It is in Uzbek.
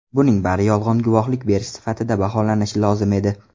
Buning bari yolg‘on guvohlik berish sifatida baholanishi lozim edi.